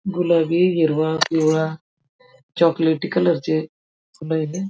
गुलाबी हिरवा पिवळा चॉकलेटी कलर चे फुले ये .